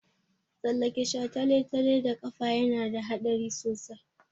Tsallake shataletale da ƙafa yana da haɗari sosai.